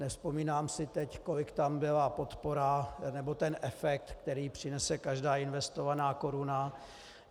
Nevzpomínám si teď, kolik tam byla podpora, nebo ten efekt, který přinese každá investovaná koruna.